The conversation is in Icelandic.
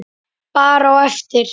Bara á eftir.